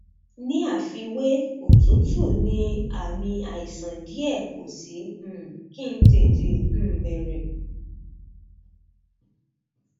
ní àfiwé òtútù ní àmì àìsàn díẹ kò sì um kí ń tètè um bẹrẹ